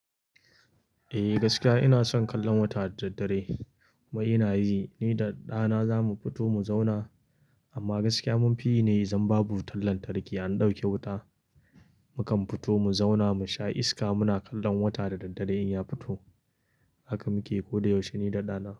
Eh gaskiya ina son kallon wata da daddare. Mai ina yi, ni da ɗana zamu fito mu zauna, amma gaskiya mun fi yi ne zan babu wutar lantarki an ɗauke wuta. Mukan fito mu zauna mu sha iska muna kallon wata da daddare in ya fito. Haka muke ko da yaushe ni da ɗana.